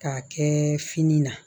K'a kɛ fini na